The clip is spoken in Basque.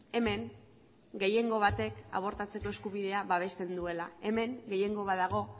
hemen gehiengo batek abortatzeko eskubidea babesten duela hemen gehiengo bat dago